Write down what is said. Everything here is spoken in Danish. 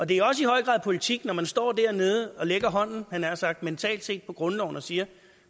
det er også i høj grad politik når man står dernede og lægger hånden jeg nær sagt mentalt set på grundloven og siger at